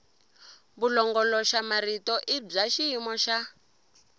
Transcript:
vulongoloxamarito i bya xiyimo xa